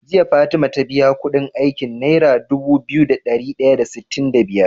Jiya fatima ta biya Ƙudin aikin naira Dubu biyu da dari daya da sitin da biyar?